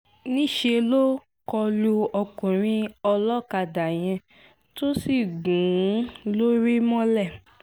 ńṣe ló kọ lu ọkùnrin olókàdá yẹn tó sì gún un lórí mọ́lẹ̀